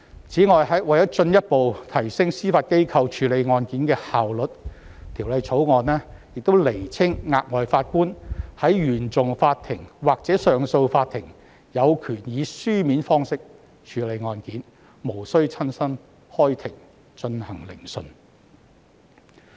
此外，為了進一步提升司法機構處理案件的效率，《條例草案》亦釐清額外法官在原訟法庭或上訴法庭有權以書面方式處理案件，無須親身開庭進行聆訊。